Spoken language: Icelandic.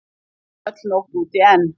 Ekki er öll nótt úti enn.